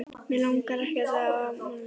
Mig langar ekkert í afmælið hans.